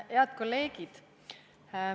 Head kolleegid!